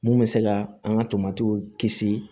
Mun bɛ se ka an ka tomatiw kisi